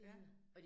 Ja